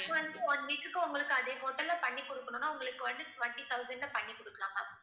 அப்ப வந்து one week குக்கு உங்களுக்கு அதே hotel ல பண்ணி கொடுக்கணும்னா உங்களுக்கு வந்து twenty thousand ல பண்ணி கொடுக்கலாம் ma'am